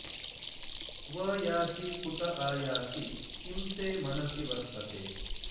क्व यासि कुत आयासि किं ते मनसि वर्तते